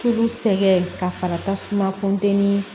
Tulu sɛgɛn ka fara tasuma funteni